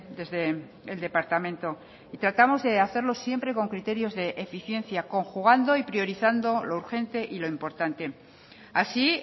desde el departamento y tratamos de hacerlo siempre con criterios de eficiencia conjugando y priorizando lo urgente y lo importante así